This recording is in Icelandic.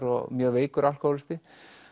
og mjög veikur alkóhólisti